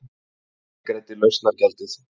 Ég greiddi lausnargjaldið.